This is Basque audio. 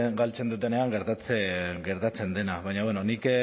galtzen dutenean gertatzen dena baina bueno nik